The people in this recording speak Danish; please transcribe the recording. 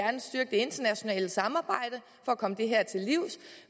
internationale samarbejde for at komme det her til livs